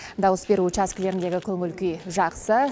дауыс беру учаскелеріндегі көңіл күй жақсы